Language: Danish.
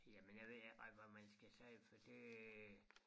Jamen jeg ved ikke rigtig hvad man skal sige for det